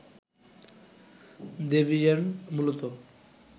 দ্যবিয়ের্ন মূলত